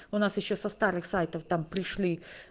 у нас ещё со старых сайтов там пришли